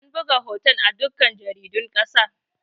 An buga hoton a dukkan jaridun ƙasa